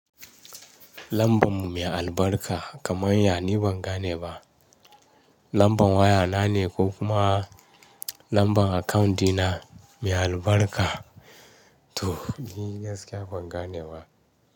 Lamban mu mai albarka kaman ya ni ban gane ba. Lamban waya na ne ko kuma lamban account dina mai albarka to, ni gaskiya ban gane ba.